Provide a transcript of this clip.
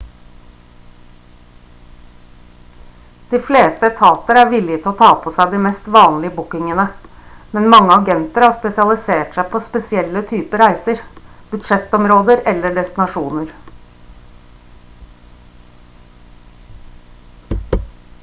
de fleste etater er villige til å ta på seg de mest vanlige bookingene men mange agenter har spesialisert seg på spesielle typer reiser budsjettområder eller destinasjoner